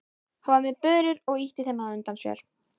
Hann var með börur og ýtti þeim á undan sér.